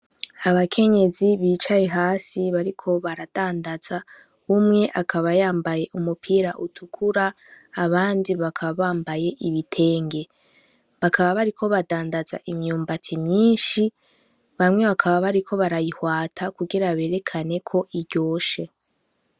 Abakenyezi bicaye hasi bariko baradandaza umwe akabayambaye umupira utukura abandi bakaba bambaye ibitenge bakaba bariko badandaza imyumbatsi myinshi bamwe bakaba bariko barayihwata kugira berekaneko iryoshe.